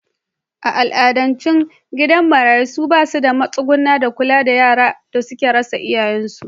A al'adance gidajen marayu sun ba da matsuguni da kula da yaran da suka rasa iyayensu.